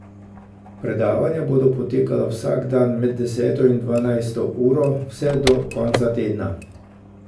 Predavanja bodo potekala vsak dan med deseto in dvanajsto uro, vse do konca tedna.